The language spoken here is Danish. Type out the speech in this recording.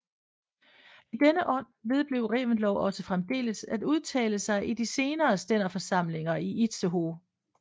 I denne ånd vedblev Reventlow også fremdeles at udtale sig i de senere stænderforsamlinger i Itzehoe